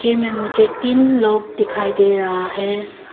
में मुझे तीन लोग दिखाई दे रहा है।